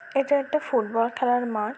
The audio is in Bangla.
এটা একটা ফুটবল খেলার মাঠ।